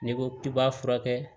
N'i ko k'i b'a furakɛ